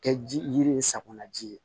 Kɛ ji yiri ye safunɛ ji ye